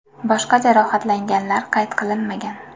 Boshqa jarohatlanganlar qayd qilinmagan.